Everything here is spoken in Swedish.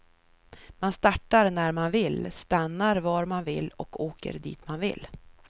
Man startar när man vill, stannar var man vill och åker dit man vill.